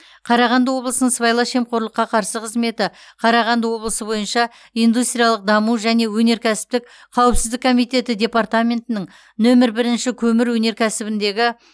қарағанды облысының сыбайлас жемқорлыққа қарсы қызметі қарағанды облысы бойынша индустриялық даму және өнеркәсіптік қауіпсіздік комитеті департаментінің нөмір бірінші көмір өнеркәсібіндегі